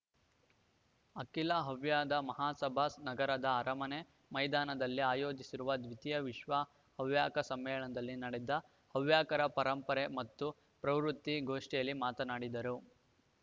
ಅಖಿಲ ಹವ್ಯದ ಮಹಾಸಭಾ ನಗರದ ಅರಮನೆ ಮೈದಾನದಲ್ಲಿ ಆಯೋಜಿಸಿರುವ ದ್ವಿತೀಯ ವಿಶ್ವ ಹವ್ಯಕ ಸಮ್ಮೇಳನದಲ್ಲಿ ನಡೆದ ಹವ್ಯಕರ ಪರಂಪರೆ ಮತ್ತು ಪ್ರವೃತ್ತಿ ಗೋಷ್ಠಿಯಲ್ಲಿ ಮಾತನಾಡಿದರು